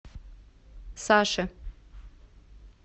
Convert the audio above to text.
саше